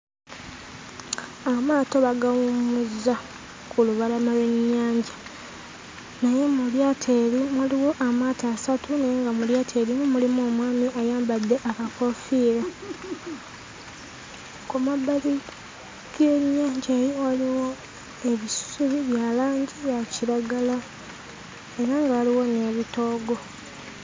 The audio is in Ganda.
Amaato bagawummuzza ku lubalama lw'ennyanja. Naye mu lyato eryo waliwo amaato asatu naye nga mu lyato erimu mulimu omwami ayambadde akakoofiira. Ku mabbali g'ennyanja eyo waliwo ebisubi bya langi ya kiragala, era nga waliwo n'ebitoogo.